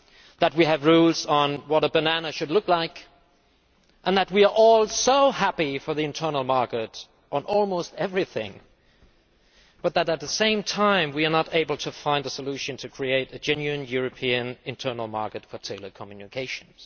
that we have rules on what a banana should look like, and that we are all so happy to have an internal market on almost everything, but that at the same time we are not able to find a solution for creating a genuine European internal market for telecommunications.